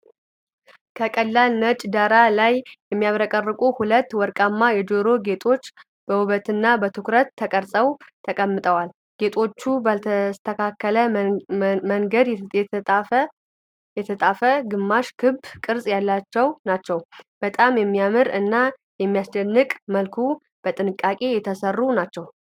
ከቀላል ነጭ ዳራ ላይ የሚያብረቀርቁ ሁለት ወርቃማ የጆሮ ጌጦች በውበትና በትኩረት ተቀርጸው ተቀምጠዋል። ጌጦቹ ባልተስተካከለ መንገድ የታጠፈ ግማሽ ክብ ቅርጽ ያላቸው ናቸው፣ በጣም በሚያምር እና በሚያስደንቅ መልኩ በጥንቃቄ የተሰሩ ናቸው።